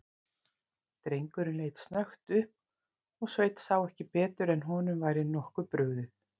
Drengurinn leit snöggt upp og Sveinn sá ekki betur en honum væri nokkuð brugðið.